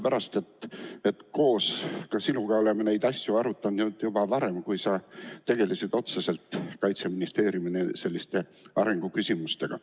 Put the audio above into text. Olen koos sinuga neid asju arutanud juba varem, kui sa tegelesid Kaitseministeeriumis otseselt selliste arenguküsimustega.